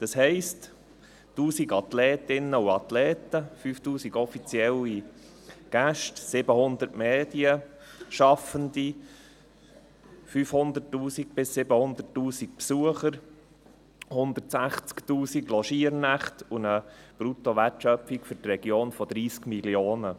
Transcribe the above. Das heisst: 1000 Athletinnen und Athleten, 5000 offizielle Gäste, 700 Medienschaffende, 500 000–700 000 Besucher, 160 000 Logiernächte und eine Bruttowertschöpfung von 30 Mio. Franken für die Region.